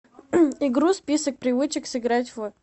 игру список привычек сыграть в